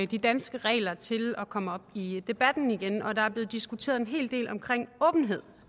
de danske regler til at komme op i debatten igen og der er blevet diskuteret en hel del omkring åbenhed